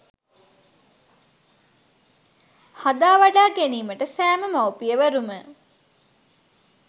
හදා වඩා ගැනීමට සෑම මවුපියවරුම